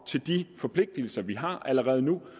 til de forpligtelser vi har allerede nu